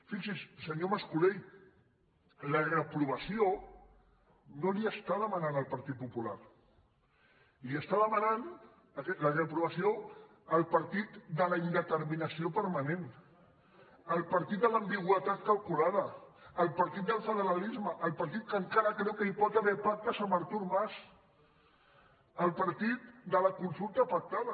fixis’hi senyor mascolell la reprovació no la hi està demanant el partit popular li està demanant la reprovació el partit de la indeterminació permanent el partit de l’ambigüitat calculada el partit del federalisme el partit que encara creu que hi pot haver pactes amb artur mas el partit de la consulta pactada